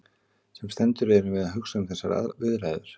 Sem sendur erum við að hugsa um þessar viðræður.